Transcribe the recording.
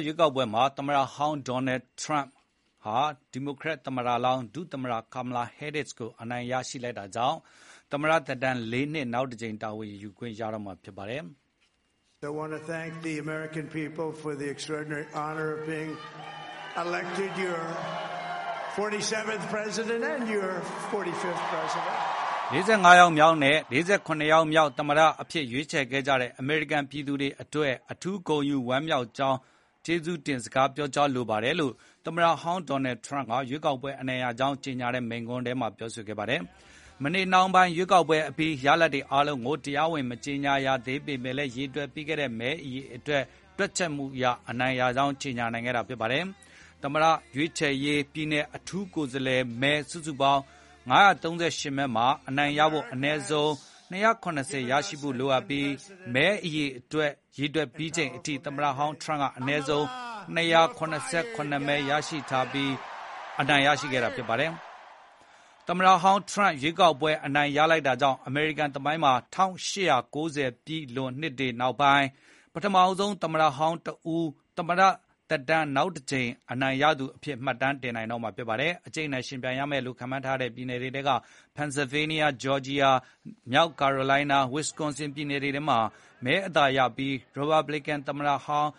ရွေးကောက်ပွဲမှာ သမ္မတဟောင်း Donald Trump ဟာ ဒီမိုကရက်တစ်သမ္မတလောင်း ဒုသမ္မတ Kamala Harris ကို အနိုင်ရလိုက်တာကြောင့် သမ္မတသက်တမ်း ၄ နှစ် တာဝန်ယူခွင့်ရတော့မှာ ဖြစ်ပါတယ်။ "၄၅ ယောက်မြောက်နဲ့ ၄၇ ယောက်မြောက် သမ္မတအဖြစ်ရွေးချယ်ခဲ့ကြတဲ့ အမေရိကန်ပြည်သူတွေကို အထူးဂုဏ်ယူဝမ်းမြောက်ကြောင်း ကျေးဇူးတင်စကား ပြောကြားလိုပါတယ်။" လို့ သမ္မတဟောင်း ထရမ့်က ရွေးကောက်ပွဲ အနိုင်ရကြောင်း ကြေညာတဲ့ မိန့်ခွန်းမှာ ပြောခဲ့တာပါ။ မနေ့နှောင်းပိုင်း ရွေးကောက်ပွဲအပြီး ရလဒ်တွေ အားလုံးကို တရားဝင် မကြေညာရသေးပေမဲ့ ရေတွက်ပြီးတဲ့ မဲတွေအပေါ် တွက်ချက်မှုအရ အနိုင်ရကြောင်း ကြေညာနိုင်ခဲ့တာ ဖြစ်ပါတယ်။ သမ္မတရွေးချယ်ရေး ပြည်နယ် အထူးကိုယ်စားလှယ်မဲ စုစုပေါင်း ၅၃၈ မဲမှာ အနိုင်ရဖို့ အနည်းဆုံး ၂၇၀ ရဖို့ လိုအပ်ပြီး အခုမဲတွေ ရေတွက်ပြီးချိန်အထိ သမ္မတဟောင်းထရမ့်က အနည်းဆုံး ၂၇၇ မဲ ရထားပြီး အနိုင်ရခဲ့တာပါ။ သမ္မတဟောင်းထရမ့် ရွေးကောက်ပွဲအနိုင်ရလိုက်တာကြောင့် အမေရိကန်သမိုင်းမှာ ၁၈၉၀ ပြည့်လွန် နှစ်တွေနောက်ပိုင်း ပထမဆုံးသမ္မတဟောင်းတဦး သမ္မတသက်တမ်းနောက်တကြိမ် အနိုင်ရသူအဖြစ် မှတ်တမ်းတင်နိုင်တော့မှာ ဖြစ်ပါတယ် အကြိတ်အနယ် ယှဉ်ပြိုင်ရမယ်လို့ ခန့်မှန်းထားတဲ့ ပြည်နယ်တွေထဲက Pennsylvania, Georgia, မြောက် Carolina နဲ့ Wisconsin ပြည်နယ်တွေမှာ မဲအသာရပြီး ရီပတ်ဘလစ်ကန် သမ္မတလောင်း